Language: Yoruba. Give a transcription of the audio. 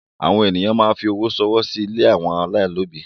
Àwọn èyàn máa ń fi owó ṣọwọ́ sí ilé àwọn ọmọ aláìní òbí.